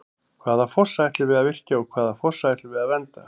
Hvaða fossa ætlum við að virkja og hvaða fossa ætlum við að vernda?